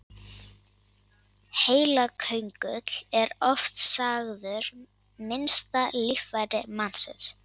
Heilaköngull er oft sagður minnsta líffæri mannsins.